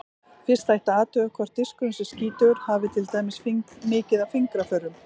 Fyrst ætti að athuga hvort diskurinn sé skítugur, hafi til dæmis mikið af fingraförum.